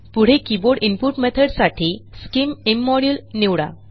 पुढे keyboard input मेथडसाठी scim immodule निवडा